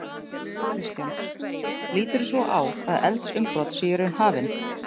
Kristján: Líturðu svo á að eldsumbrot séu í raun hafin?